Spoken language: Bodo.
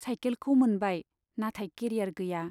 साइकेलखौ मोनबाय, नाथाय केरियार गैया।